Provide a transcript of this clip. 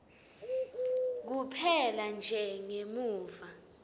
kuphela nje ngemuva